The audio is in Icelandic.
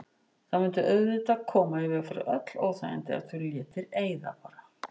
Það mundi auðvitað koma í veg fyrir öll óþægindi ef þú létir eyða bara.